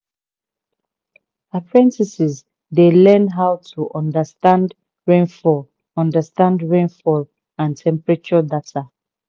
apprentices dey learn how to understand rainfall understand rainfall and temperature data